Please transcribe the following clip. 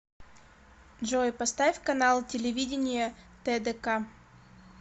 джой поставь канал телевидения тдк